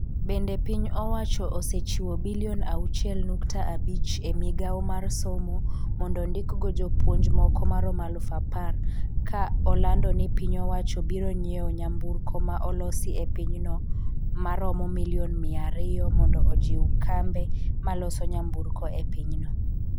Bende piny owacho osechiwo bilion auchiel nukta abich e migawo mar somo mondo ondik go jopuonj moko maromo aluf apar ka olando ni piny owacho biro nyiewo nyamburko ma olosi e pinyno ma romo milion miya ariyo mondo ojiw kambe maloso nyamburko e pinyno.